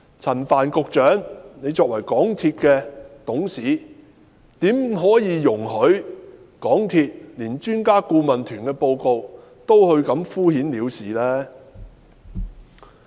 陳帆局長作為港鐵公司的董事，怎可以容許港鐵公司對專家顧問團的報告也敷衍了事呢？